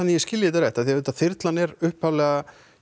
að ég skilji þetta rétt þyrlan er upphaflega